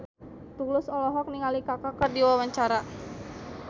Tulus olohok ningali Kaka keur diwawancara